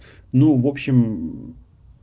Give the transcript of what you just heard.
ну в общем